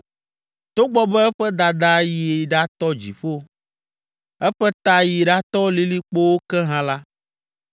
Togbɔ be eƒe dada yi ɖatɔ dziƒo, eƒe ta yi ɖatɔ lilikpowo ke hã la,